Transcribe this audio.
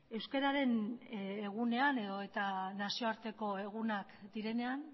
euskararen egunean edo eta nazioarteko egunak direnean